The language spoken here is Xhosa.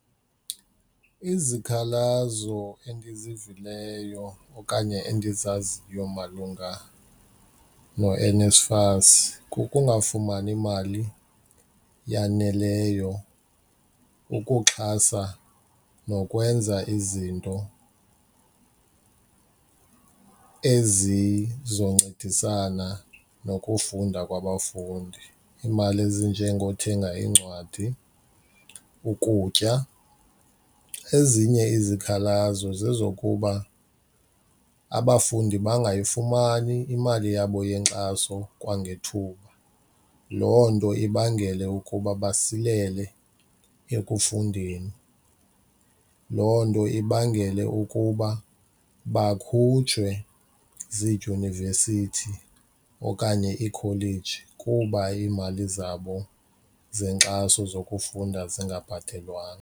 Izikhalazo endizivileyo okanye endizaziyo malunga noNSFAS kukungafumani mali yaneleyo ukuxhasa nokwenza izinto ezizoncedisana nokufunda kwabafundi. Iimali ezinjengothenga iincwadi, ukutya. Ezinye izikhalazo zezokuba abafundi bangayifumani imali yabo yenkxaso kwangethuba, loo nto ibangele ukuba basilele ekufundeni. Loo nto ibangele ukuba bakhutshwe ziidyunivesithi okanye iikholeji kuba iimali zabo zenkxaso zokufunda zingabhatelwanga.